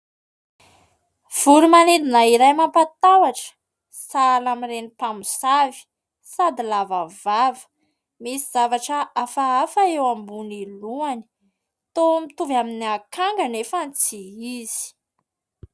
Voro-manidina iray mampatahotra, sahala amin'ireny mpamosavy sady lava vava. Misy zavatra hafahafa eo ambonin'ny lohany. Toa mitovy amin'ny akanga anefa tsy izy.